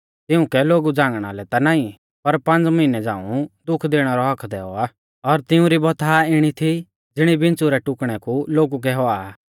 तिउंकै लोगु झ़ांगणा लै ता नाईं पर पांज़ मिहनै झ़ांऊ दुख दैणै रौ हक्क दैऔ आ और तिउंरी बौथा इणी थी ज़िणी बिच़्छ़ु रै काटणै कु लोगु कै हुआ आ